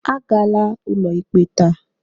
Agala ụlọikpe taa!